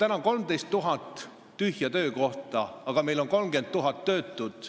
Meil on 13 000 täitmata töökohta, aga meil on 30 000 töötut.